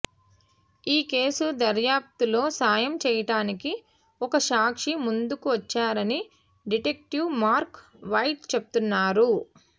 ఈ కేసు దర్యాప్తులో సాయం చేయటానికి ఒక సాక్షి ముందుకు వచ్చారని డిటెక్టివ్ మార్క్ వైట్ చెప్తున్నారు